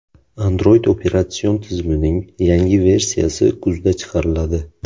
Android operatsion tizimining yangi versiyasi kuzda chiqariladi.